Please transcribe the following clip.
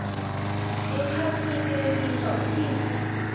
ekhasini lelisha uphindze